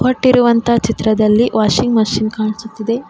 ಕೊಟ್ಟಿರುವಂತ ಚಿತ್ರದಲ್ಲಿ washing machine ಕಾಣಿಸುತ್ತಿದೆ.